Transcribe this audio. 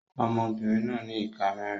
Ọmọbìnrin náà ní ìka mẹ́rin.